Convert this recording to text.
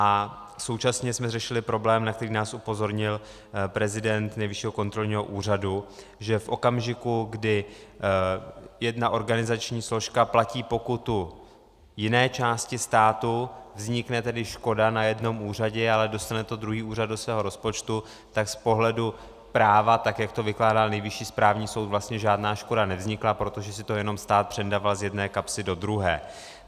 A současně jsme řešili problém, na který nás upozornil prezident Nejvyššího kontrolního úřadu, že v okamžiku, kdy jedna organizační složka platí pokutu jiné části státu, vznikne tedy škoda na jednom úřadě, ale dostane to druhý úřad do svého rozpočtu, tak z pohledu práva, tak jak to vykládal Nejvyšší správnou soud, vlastně žádná škoda nevznikla, protože si to jenom stát přendaval z jedné kapsy do druhé.